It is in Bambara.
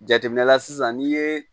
Jateminɛ la sisan n'i ye